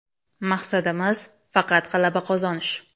Maqsadimiz faqat g‘alaba qozonish.